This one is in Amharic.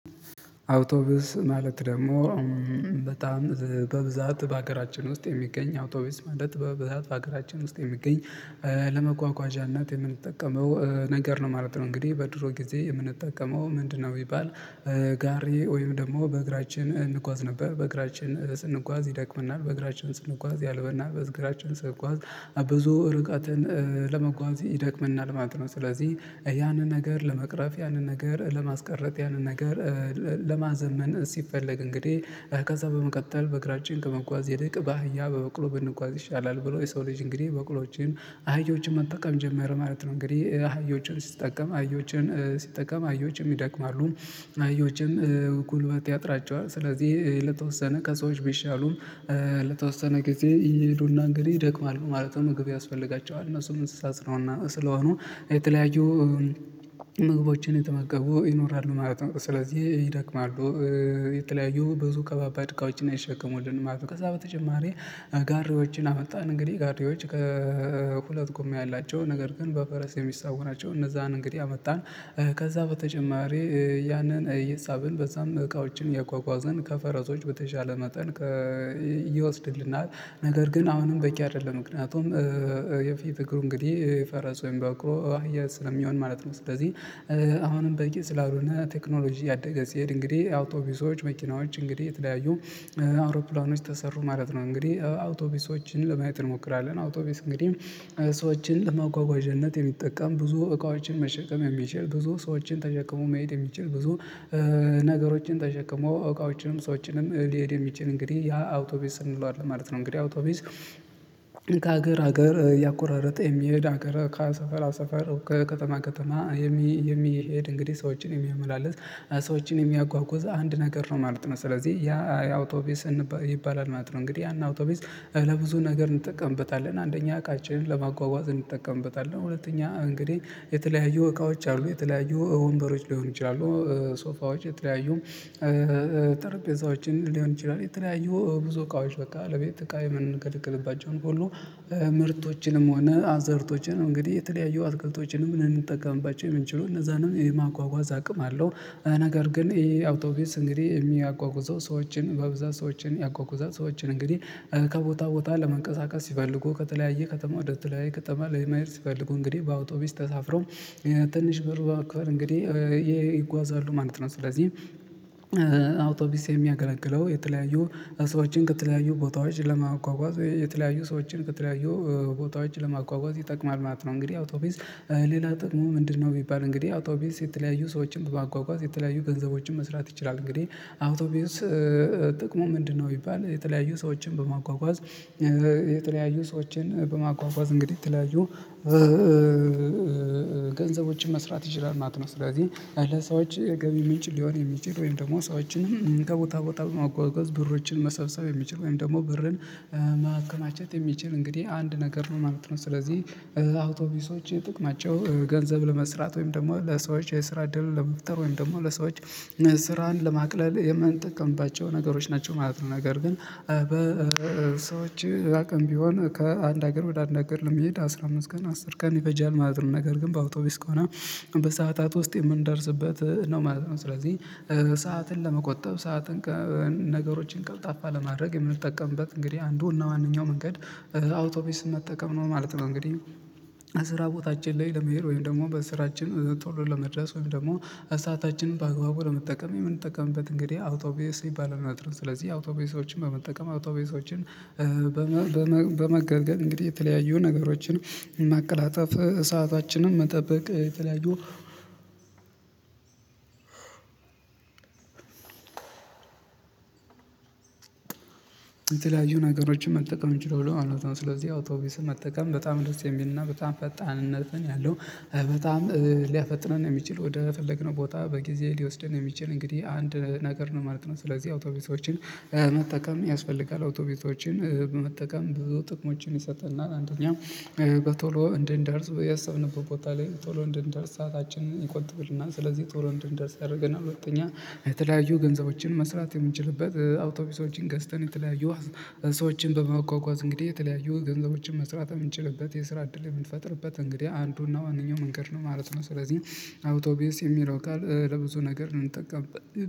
አውቶብስ ማለት ደግሞ በጣም በብዛት በአገራችን ውስጥ የሚገኝ አውቶቢስ ማለት በብዛት በአገራችን ውስጥ የሚገኝ ለመጓጓዣነት የምንጠቀመው ነገር ነው ማለት ነው። እንግዲህ በድሮ ጊዜ የምንጠቀመው ምንድነው? ቢባል ጋሪ ወይም ደግሞ በእግራችን እንጓዝ ነበር በእግራችን ስንጓዝ ይደክመናል በእግራችን ስንጓዝ ያልበናል በእግራችን ስንጓዝ ብዙ ርቀትን ለመጓዝ ይደክመናል ማለት ነው። ስለዚህ ያንን ነገር ለመቅረፍ ያንን ነገር ለማስቀረጥ ያንን ነገር ለማዘመን ሲፈለግ እንግዲህ ከዛ በመቀጠል በእግራች ከመጓዝ ይልቅ በአህያ በበቅሎ ብንጓዝ ይሻላል ብሎ የሰው ልጅ እንግዲህ በቅሎወቼን አህያዎችን መጠቀም ጀመረ ማለት ነው። እንግዲህ አህያዎችን ሲጠቀም አህዮችን ሲጠቀም አህዮችን ይደክማሉ አህዮችን ጉልበት ያጥራቸዋል ስለዚህ ለተወሰነ ከሰዎች ቢሻሉም ለተወሰነ ጊዜ እየሄዱና እንግዲህ ይደክማሉ ማለት ነው። ምግብ ያስፈልጋቸዋል እነሱም እንስሳ ስለሆ ስለሆኑ የተለያዩ ምግቦችን የተማገቡ ይኖራሉ ማለት ነው። ስለዚህ ይደክማሉ የተለያዩ ብዙ ከባባድ እቃውችን ነው አይሸከምሉንም ማለት ነው። ከዛ በተጨማሪ ጋሪዮችን አመጣን እንግዲህ ጋሪዮች ከሁለት ጉምያ ያላቸው ነገር ግን በፈረስ የሚሳቡናቸው እነዛን እንግዲህ አመጣን። ከዛ በተጨማሪ ያንን ሂሳብን በዛም እቃዎችን እያጓጓዝን ከፈረሶች በተሻለ መጠን ይወስድልናል። ነገር ግን አሁንም በቂ አይደለም። ምክንያቱም የፊት እግሩ እንግዲህ ፈረስ ወይም በቅሎ አህያ ስለሚሆን ማለት ነው። ስለዚህ አሁንም በቂ ስላልሆነ ቴክኖሎጂ ያደገ ሲሄድ እንግዲህ አውቶቢሶች መኪናዎች እንግዲህ የተለያዩ አውሮፕላኖች ተሰሩ ማለት ነው። እንግዲህ አውቶቢሶችን ለማየት እንሞክራለን አውቶቢስ እንግዲህ ሰዎችን መጓጓዣነት የሚጠቀም ብዙ እቃዎችን መሸከም የሚችል ብዙ ሰዎችን ተሸክሞ መሄድ የሚችል ብዙ ነገሮችን ተሸክሞ እቃዎችንን ሰዎችንም ሊሄድ የሚችል እንግዲህ ያ አውቶቢስ እንለዋለን ማለት ነው። እንግዲህ አውቶቢስ ከሀገር ሀገር ያቆራረጠ የሚሄድ ሀገር ከሰፈራ ሰፈር ከከተማ ከተማ የሚሄድ እንግዲህ ሰዎችን የሚያመላልስ ሰዎችን የሚያጓጉዛ አንድ ነገር ነው ማለት ነው። ስለዚህ ያ የአውቶቢስ ይባላል ማለት ነው። እንግዲህ ያን አውቶቢስ ለብዙ ነገር እንጠቀምበታለን አንደኛ እቃችንን ለማጓጓዝ እንጠቀምበታለን ሁለተኛ እንግዲህ የተለያዩ እቃዎች አሉ የተለያዩ ወንበሮች ሊሆኑ ይችላሉ ሶፋዎች የተለያዩ ጠረጴዛዎችን ሊሆን ይችላል። የተለያዩ ብዙ እቃዎች በቃ ለቤት እቃ የምንቀልቅልባቸውን ሁሉ ምርቶችንም ሆነ አዝርቶችንም እንግዲህ የተለያየው አትክልቶችን ምን እንጠቀምባቸው የምንችለው እነዛንም የማጓጓዝ አቅም አለው። ነገር ግን ይሄ አውቶቢስ እንግዲህ የሚያጓጉዘው ሰዎችን በብዛት ሰዎችን ያጓጉዛል ሰዎችን እንግዲህ ከቦታ ቦታ ለመንቀሳቀስ ሲፈልጉ ከተለያየ ከተማ ወደ ተለያየ ከተማ ለማሄድ ሲፈልጉ እንግዲህ በአውቶቢስ ተሳፍረው ትንሽ በር በመክፈል እንግዲህ ይጓዛሉ ማለት ነው። ስለዚህ አውቶቢስ የሚያገለግለው የተለያዩ ሰዎችን ከተለያዩ ቦታዎች ለማጓጓዝ የተለያዩ ሰዎችን ከተለያዩ ቦታዎች ለማጓጓዝ ይጠቅማል ማለት ነው። እንግዲህ አውቶቢስ ሌላ ጥቅሙ ምንድነው? ቢባል እንግዲህ አውቶቢስ የተለያዩ ሰዎችን በማጓጓዝ የተለያዩ ገንዘቦችን መስራት ይችላል። እንግዲህ አውቶቢውስ ጥቅሙ ምንድነው? ቢባል የተለያዩ ሰዎችን በማጓጓዝ የተለያዩ ሰዎችን በማጓጓዝ እንግዲህ የተለያዩ ገንዘቦችን መስራት ይችላል ማለት ነው። ስለዚህ ለሰዎች የገቢ ምንጭ ሊሆን የሚችል ወይም ደግሞ ሰዎችን ከቦታ ቦታ በማጓጓዝ ብሮችን መሰብሰብ የሚችል ወይም ደግሞ ብርን ማከማቸት የሚችል እንግዲህ አንድ ነገር ነው ማለት ነው። ስለዚህ አውቶቢሶች ጥቅማቸው ናቸው ገንዘብ ለመስራት ወይም ደግሞ ለሰዎች የስራ ድል ለመፍጠር ወይም ደግሞ ለሰዎች ስራን ለማቅለል የምንጠቀምባቸው ነገሮች ናቸው ማለት ነው። ነገር ግን በሰዎች አቅም ቢሆን ከአንድ ሀገር ወደ አንድ ሀገር ለመሄድ አስራ አምስት ቀን አስር ቀን ይፈጃል ማለት ነው። ነገር ግን በአውቶቢስ ከሆነ በሰአታት ውስጥ የምንደርስበት ነው ማለት ነው። ስለዚህ ሰዓትን ለመቆጠብ ሰዓትን ነገሮችን ቀልጣፋ ለማድረግ የምንጠቀምበት እንግዲህ አንዱ እና ዋናው መንገድ አውቶቢስ መጠቀም ነው ማለት ነው። እንግዲህ ከስራ ቦታችን ላይ ለመሄድ ወይም ደግሞ በስራችን ቶሎ ለመድረስ ወይም ደግሞ ሰአታችንን በአግባቡ ለመጠቀም የምንጠቀምበት እንግዲህ አውቶቢስ ይባላል ማለት ነው። ስለዚህ አውቶቢሶችን በመጠቀም አውቶቢሶችን በመገልገል እንግዲህ የተለያዩ ነገሮችን ማቀላጥፍ ሰአታችንን መጠበቅ የተለያዩ አዎ የተለያዩ ነገሮችን መጠቀም እንችላለን። አላውቅም ስለዚህ አውቶቡስን መጠቀም በጣም ደስ የሚልና በጣም ፈጣንነትን ያለው በጣም ሊያፈጥነን የሚችል ወደ ፈለግነው ቦታ በጊዜ ሊወስደን የሚችል እንግዲህ አንድ ነገር ነው ማለት ነው። ስለዚህ አውቶቡሶችን መጠቀም ያስፈልጋል አውቶቢቶችን መጠቀም ብዙ ጥቅሞችን ይሰጥናል። አንደኛ ቶሎ እንድንደርስ ያሰብንበት ቦታ ላይ ቶሎ እንድንደርስ ሰአታችንን ይቆጥብልናል ስለዚህ ቶሎ እንድንደርስ ያደርገናል። ሁለተኛ የተለያዩ ገንዘቦችን መስራት የምንችልበት አውቶቢሶችን ገዝተን የተለያዩ ሰዎችን በማጓጓዝ እንግዲህ የተለያዩ ገንዘቦችን መስራት እምንችልበት የስራ እድል የምንፈጥርበት እንግዲህ አንዱና ዋናው መንገድ ነው ማለት ነው። ስለዚህ አውቶቢስ የሚለው ቃል ለብዙ ነገር ነው የምጠቀመው